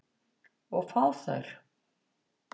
Og fá þær.